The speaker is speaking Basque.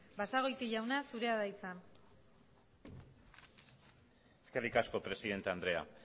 basagoiti jauna zure da hitza eskerrik asko presidente andrea